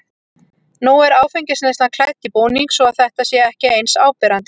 Nú er áfengisneyslan klædd í búning svo að þetta sé ekki eins áberandi.